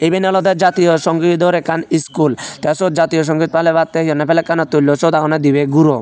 iben olodey jatiyaw sawngit dor ekkan skool tay siyot jatiyaw sawngit palebatte hee honne flegkano tullon siyot agonne dibey guro.